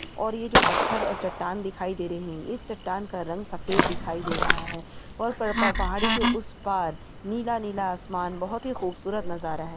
और यह जो पत्थर और चट्टान दिखाई दे रहे है इस चट्टान का रंग सफेद दिखाई दे रहा है और पड़ पा पहाड़ी के उस पार नीला-नीला आसमान बहोत ही खूबसूरत नज़ारा है।